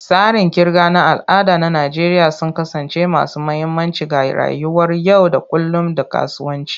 Tsarin kirga na al'ada na Najeriya sun kasance masu mahimmanci ga rayuwar yau da kullun da kasuwanci.